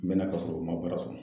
N mɛna ka sɔrɔ u ma baara sɔrɔ .